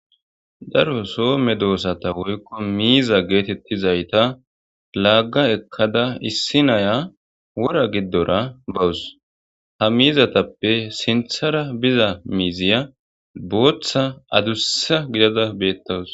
Daro soo me doossata woykko miiza geetettizayta laagga ekkada issi naya wora giddora bawus ha miizatappe sinthara biza miiziya booththa adussa gidada beettawus.